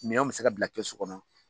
Minɛnw bɛ se ka bila kɛsu kɔnɔ.